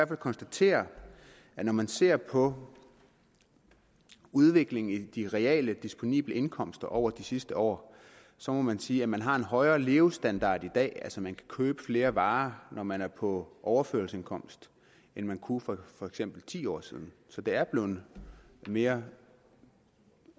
konstatere at når man ser på udviklingen i de reale disponible indkomster over de sidste år så må man sige at man har en højere levestandard i dag altså at man kan købe flere varer dag når man er på overførselsindkomst end man kunne for for eksempel ti år siden så det er blevet mere